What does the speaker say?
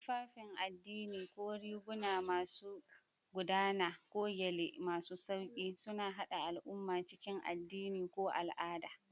Tufafin addini, ko riguna masu gudana ko gyale masu sauƙi, suna haɗa al'umma cikin addini da al'ada.